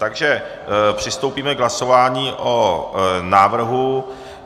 Takže přistoupíme k hlasování o návrhu.